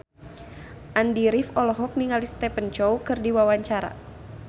Andy rif olohok ningali Stephen Chow keur diwawancara